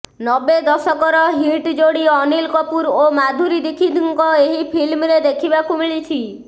ନବେ ଦଶକର ହିଟ ଜୋଡ଼ି ଅନିଲ କପୁର ଓ ମାଧୁରୀ ଦୀକ୍ଷିତଙ୍କ ଏହି ଫିଲ୍ମରେ ଦେଖିବାକୁ ମିଳିଛି